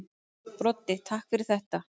Broddi: Takk fyrir þetta.